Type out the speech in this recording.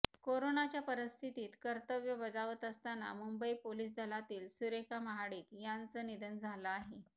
कोरोनाच्या परिस्थितीत कर्तव्य बजावत असताना मुंबई पोलीस दलातील सुरेखा महाडिक यांचं निधन झालं आहे